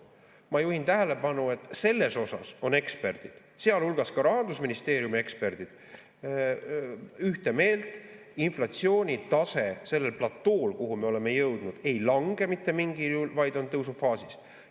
Ma juhin tähelepanu, et selles suhtes on eksperdid, sealhulgas ka Rahandusministeeriumi eksperdid, ühte meelt: inflatsioonitase sellel platool, kuhu me oleme jõudnud, ei lange mitte mingil juhul, vaid on tõusufaasis.